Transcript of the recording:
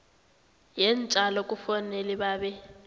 yeentjalo kufanele babe